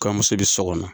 Kɔɲɔmuso bi so kɔnɔ